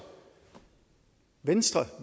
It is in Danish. venstre